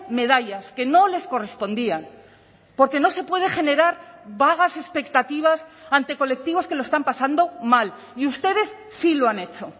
medallas que no les correspondían porque no se puede generar vagas expectativas ante colectivos que lo están pasando mal y ustedes sí lo han hecho